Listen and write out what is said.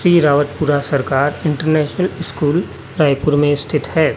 P Rawatpura Sarkar international school Raipur में स्थित है।